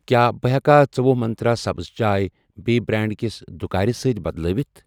کیٛاہ بہٕ ہیٚکا ژٔوُہ منٛترٛا سبٕز چاے بییٚہِ بریٚنڑ کِس دُکارِ سۭتۍ بدلٲوِتھ؟